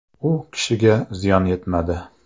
U kishiga ziyon yetmadi.